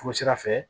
Furu sira fɛ